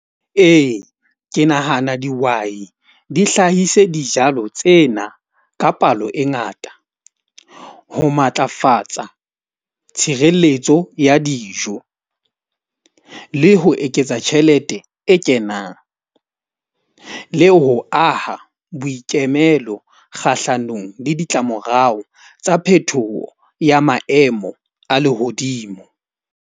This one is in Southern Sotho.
Ee, ke nahana dihwai di hlahise dijalo tsena ka palo e ngata ho matlafatsa tshireletso ya dijo, le ho eketsa tjhelete e kenang, le ho aha boikemelo kgahlanong le ditlamorao tsa phetoho ya maemo a lehodimo.